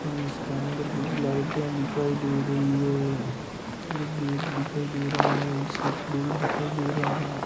और इसके अंदर मुझे लाइटें दिखाई दे रही है एक गेट दिखाई दे रहा है एक स्विच बोर्ड दिखाई दे रहा है।